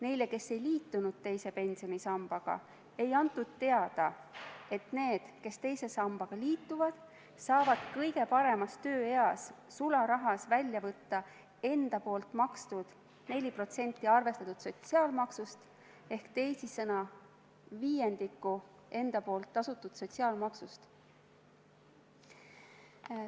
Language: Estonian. Neile, kes ei liitunud teise pensionisambaga, ei antud teada, et need, kes teise sambaga liituvad, saavad kõige paremas tööeas sularahas välja võtta enda poolt makstud 4% arvestatud sotsiaalmaksust ehk teisisõnu viiendiku enda poolt tasutud sotsiaalmaksust.